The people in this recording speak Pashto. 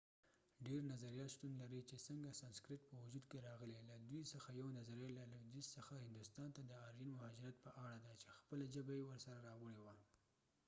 ډیر نظريات شتون لري چې څنګه سنسکرت په وجود کې راغلی له دوی څخه یوه نظريه له لویدیځ څخه هندوستان ته د آرین مهاجرت په اړه ده چې خپله ژبه یې ورسره راوړې وه